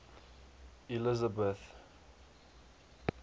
elizabeth